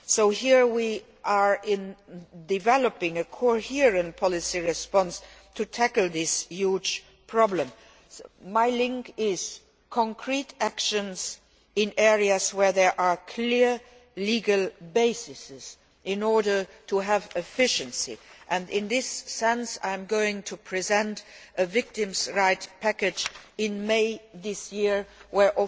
So this is where we are in developing a coherent policy response to tackle this huge problem my link is concrete actions in areas where there are clear legal bases in order to have efficiency, and in this regard, I am going to present a victims' rights package in May this year in which